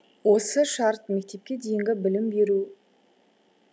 осы шарт мектепке дейінгі білім беру